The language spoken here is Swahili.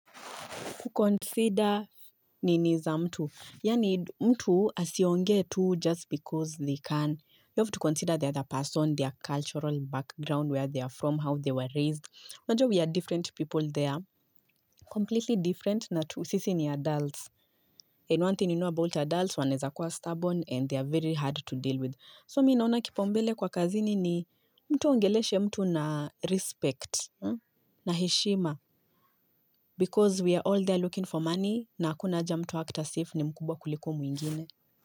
Kuconsider nini za mtu. Yaani mtu asiongee tu just because they can. You have to consider the other person, their cultural background, where they are from, how they were raised. Najua we are different people there. Completely different na tu. Sisi ni adults. And one thing you know about adults. Wanaeza kuwa stubborn and they are very hard to deal with. So mi naona kipaumbele kwa kazini ni mtu aongeleshe mtu na respect. Na heshima. Because we are all there looking for money. Na hakuna haja mtu aact as if ni mkubwa kuliko mwingine.